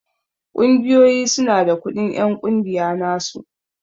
Ƙungiyoyi su na da kudin en ƙungiya na su.